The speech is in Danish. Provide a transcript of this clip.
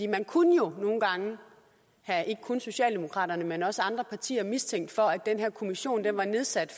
man kunne jo nogle gange have ikke kun socialdemokraterne men også andre partier mistænkt for at den her kommission var nedsat